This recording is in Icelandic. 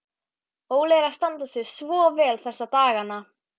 Óli er að standa sig svo vel þessa dagana.